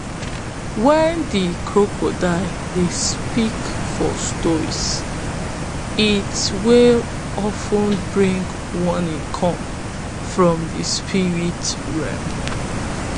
wen de crocodile dey speak for stories it dwy of ten bring warnings come from de spirit realm